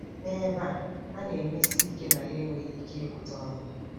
N'ebe a, a na-emesi ike na ya enweghị ike ịgụta ọnụ.